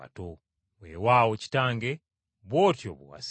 Weewaawo Kitange, bw’otyo bwe wasiima.”